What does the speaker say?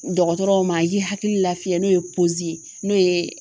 Dɔgɔtɔrɔw ma ye hakili lafiyɛ n'o ye n'o ye